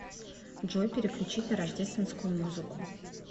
джой переключить на рождественскую музыку